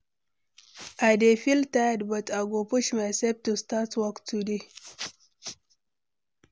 I dey feel tired, but I go push myself to start work today.